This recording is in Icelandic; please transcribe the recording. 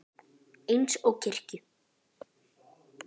Eins og í kirkju.